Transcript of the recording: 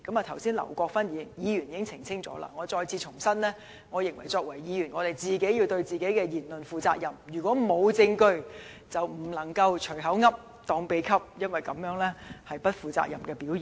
就此，劉國勳議員剛才已作出澄清，而我亦想再次重申，我認為我們作為議員，必須對自己的言論負責；如果沒有證據，便不應該"隨口噏，當秘笈"，因為這是不負責任的表現。